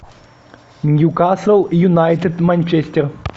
ньюкасл юнайтед манчестер